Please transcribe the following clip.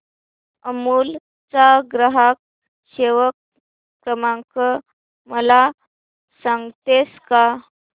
अमूल चा ग्राहक सेवा क्रमांक मला सांगतेस का